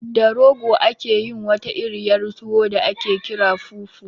Da rogo ake yin wata iriyar tuwo da aƙe ƙira fufu